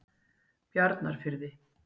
Bjarnarfirði